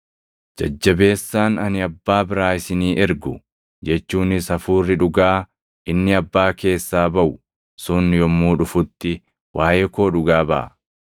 “Jajjabeessaan ani Abbaa biraa isinii ergu, jechuunis Hafuurri Dhugaa inni Abbaa keessaa baʼu sun yommuu dhufutti waaʼee koo dhugaa baʼa.